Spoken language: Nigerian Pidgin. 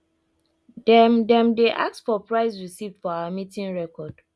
dem dem dey ask for price receipt for our meeting record